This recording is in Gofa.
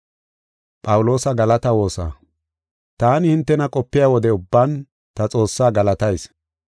Taani hintena qopiya wode ubban, ta Xoossaa galatayis.